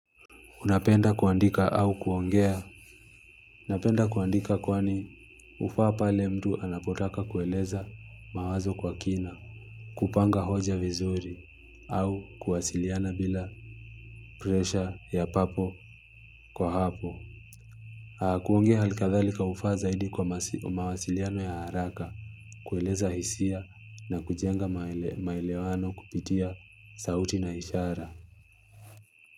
Napenda kuandika au kuongea. Unapenda kuandika kwani ufaa pale mtu anapotaka kueleza mawazo kwa kina. Kupanga hoja vizuri au kuwasiliana bila presha ya papo kwa hapo. Kuongea halkadhalika ufaa zaidi kwa mawasiliano ya haraka. Kueleza hisia na kujenga maelewano kupitia sauti na ishara.